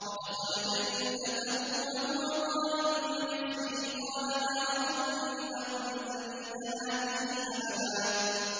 وَدَخَلَ جَنَّتَهُ وَهُوَ ظَالِمٌ لِّنَفْسِهِ قَالَ مَا أَظُنُّ أَن تَبِيدَ هَٰذِهِ أَبَدًا